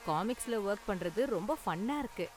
காமிக்ஸ்ல work பண்றது ரொம்ப ஃபன்னா இருக்கு